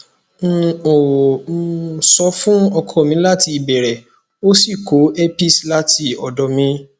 n ò um sọ fún ọkọ mi láti ìbẹrẹ ó sì kó herpes láti ọdọ mi